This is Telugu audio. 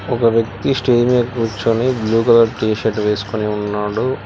ఒక వ్యక్తి స్టేజ్ మీద కూర్చొని బ్లూ కలర్ టీ షర్ట్ వేసుకొని ఉన్నాడు.